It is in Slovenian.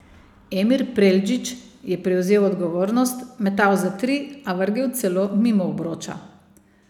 Emir Preldžić je prevzel odgovornost, metal za tri, a vrgel celo mimo obroča.